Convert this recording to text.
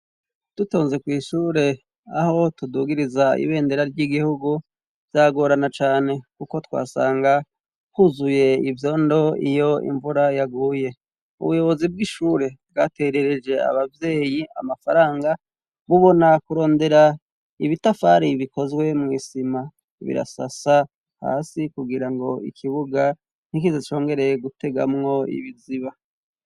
Dutonze kwishure aho tudugiriza ibendera ry'igihugu vyagorana cane kuko twasanga huzuye ivyondo iyo imvura yaguye ubuyobozi bw'ishure bwaterereje abavyeyi amafaranga bubona kurondera ibitafari bikozwe mwisima birasasa hasi kugira ngo ikibuga ntikize congere gutegamwo ibiziba.